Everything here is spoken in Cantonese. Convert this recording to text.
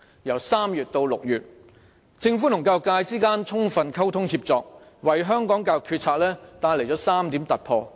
由3月至6月期間，政府與教育界充分溝通協作，為香港教育決策帶來了3點突破。